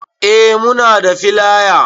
Eh muna da filaya